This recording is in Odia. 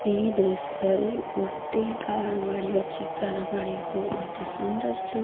ଏଇ ଦୃଶ୍ୟ ରେ ଗୋଟେ ହିଁ କାର ଗାଡି ଅଛି କାର ଗାଡି କୁ ଅତି ସୌନ୍ଦର୍ଯ୍ୟ।